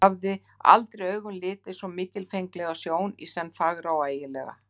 Hún hafði aldrei augum litið svo mikilfenglega sjón, í senn fagra og ægilega.